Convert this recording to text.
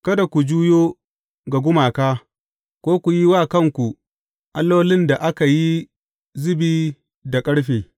Kada ku juyo ga gumaka, ko ku yi wa kanku allolin da aka yi zubi da ƙarfe.